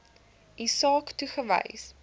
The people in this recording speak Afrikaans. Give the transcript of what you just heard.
u saak toegewys